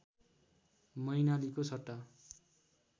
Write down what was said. मैनालीको सट्टा